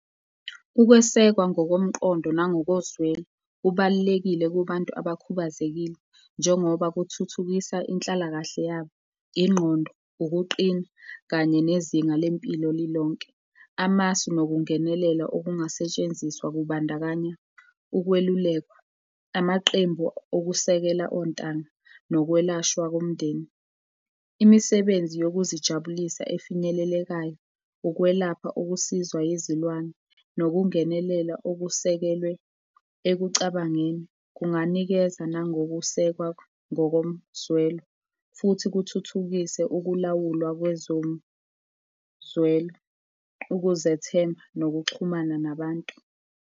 Ukwesekwa ngokomqondo nangoko zwelo, kubalulekile kubantu abakhubazekile njengoba kuthuthukisa inhlalakahle yabo yengqondo, ukuqina kanye nezinga lempilo lilonke. Amasu nokungenelela okungasetshenziswa kubandakanya ukwelulekwa, amaqembu okusekela ontanga nokwelashwa komndeni. Imisebenzi yokuzijabulisa efinyelelekayo, ukwelapha okusizwa yizilwane, nokungenelela okusekelwe ekucabangeni, kunganikeza nangokusekwa ngokomzwelo, futhi kuthuthukiswe ukulawulwa kwezomzwelo, ukuzethemba nokuxhumana nabantu.